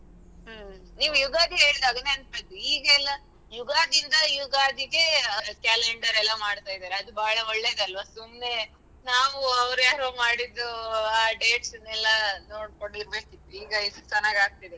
ಹ್ಮ್ ನೀವು ಯುಗಾದಿ ಹೇಳುದಾಗ ನೆನಪಾಯಿತು ಈಗ ಎಲ್ಲ ಯುಗಾದಿಯಿಂದ ಯುಗಾದಿಗೆ calender ಎಲ್ಲ ಮಾಡ್ತಾ ಇದ್ದಾರೆ ಅದು ಬಹಳ ಒಳ್ಳೇದಲ್ವಾ ಸುಮ್ನೆ ನಾವು ಅವರು ಯಾರೋ ಮಾಡಿದ್ದು dates ಅನ್ನು ಎಲ್ಲ ನೋಡ್ಕೊಂಡಿರ್ಬೇಕಿತ್ತು ಈಗ ಎಷ್ಟು ಚೆನ್ನಾಗಿ ಆಗ್ತಿದೆ.